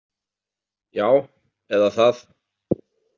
Já, eða það